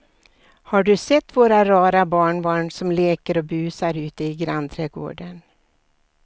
Har du sett våra rara barnbarn som leker och busar ute i grannträdgården!